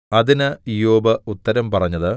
അതിന് ഇയ്യോബ് ഉത്തരം പറഞ്ഞത്